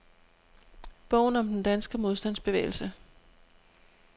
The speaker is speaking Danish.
Bogen om den danske modstandsbevægelse.